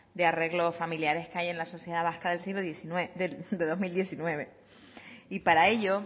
de arreglo familiares que hay en la sociedad vasca de dos mil diecinueve y para ello